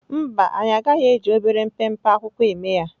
Mba, anyị anaghị eji obere mpempe akwụkwọ eme ihe.